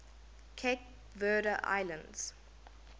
cape verde islands